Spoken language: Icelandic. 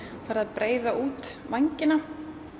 farið að breiða út vængina